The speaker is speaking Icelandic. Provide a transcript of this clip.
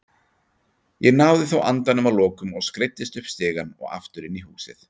Ég náði þó andanum að lokum og skreiddist upp stigann og aftur inn í húsið.